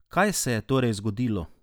Kaj se je torej zgodilo?